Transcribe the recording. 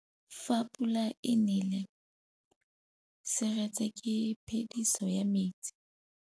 Fa pula e nelê serêtsê ke phêdisô ya metsi.